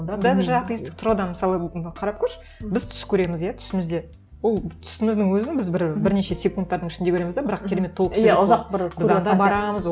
даже атеистік тұрғыдан мысалы і қарап көрші біз түс көреміз иә түсімізде ол түсіміздің өзін біз бір бірнеше секундтардың ішінде көреміз де бірақ керемет